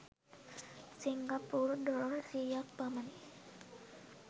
සිංගප්පූරු dollar සියයක් පමණි.